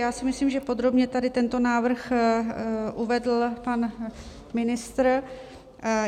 Já si myslím, že podrobně tady tento návrh uvedl pan ministr.